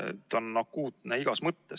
See on akuutne igas mõttes.